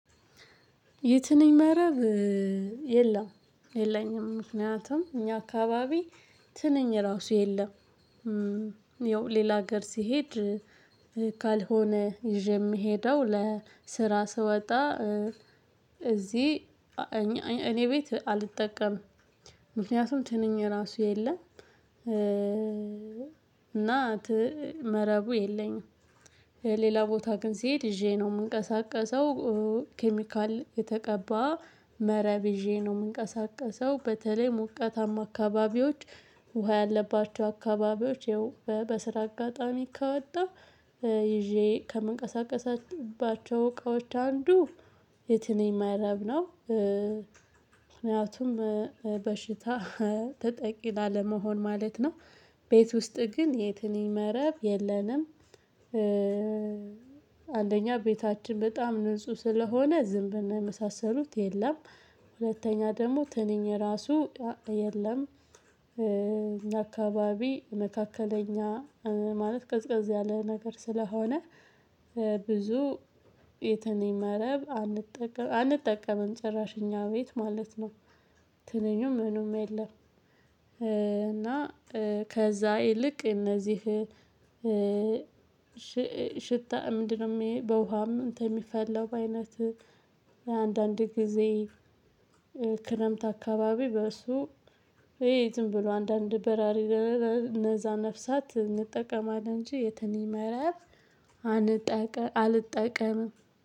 የትንኝ መረብ የለም የለኝም ምክንያቱም እኛ አካባቢ ትንኝ ራሱ የለም። ያው ሌላ ሀገር ስሄድ ካልሆነ ይዤ የምሄደው ለስራ ስወጣ እዚህ እኔ ቤት አልጠቀምም። ምክንያቱም ትንኝ ራሱ የለም። እና መረቡ የለኝም። ሌላ ቦታ ግን ስሄድ ይዤ ነው የምንቀሳቀሰው። ኬሚካል የተቀባ መረብ ይዤ ነው የምንቀሳቀሰው በተለይ ሞቃታማ አካባቢዎች ውሃ ያለባቸው አካባቢዎች በስራ አጋጣሚ ከወጣሁ ይዤ ከምንቀሳቀስባቸው እቃዎች አንዱ የትንኝ መረብ ነው። ምክንያቱም በሽታ ተጠቂ ላለመሆን ማለት ነው። ቤት ውስጥ ግን የትንኝ ይመረብ የለንም። አንደኛ ቤታችን በጣም ንጹህ ስለሆነ ዝምብና የመሳሰሉት የለም። ሁለተኛ ደግሞ ትንኝ ራሱ የለም። አካባቢ መካከለኛ ማለት ቀዝቀዝ ያለ ነገር ስለሆነ። ብዙ የተንኝ መረብ አንጠቀ አንጠቀምም ጭራሽ እኛ ቤት ማለት ነው። ትነኙም ምኑም የለም። እና ከዛ ይልቅ እነዚህ ሽታ ምንድነው? በውሃም እንትን የሚፈለው በአይነት አንዳንድ ጊዜ። ክረምት አካባቢ በእሱ ዝም ብሎ አንዳንድ በራሪ እነዛ ነፍሳት እንጠቀማለን እንጂ የትንኝ መረብ አንጠቀም። አልጠቀምም